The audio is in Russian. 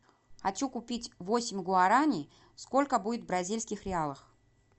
хочу купить восемь гуараней сколько будет в бразильских реалах